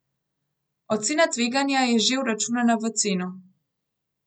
Ocena tveganja je že vračunana v ceno.